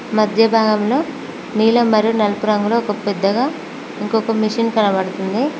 మధ్య భాగంలో నీలం మరియు నలుపు రంగులో ఒక పెద్దగా ఇంకొక మెషిన్ కనపడుతుంది.